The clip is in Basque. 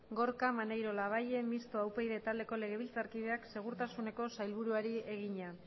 gorka maneiro labayen mistoa upyd taldeko legebiltzarkideak segurtasuneko sailburuari egina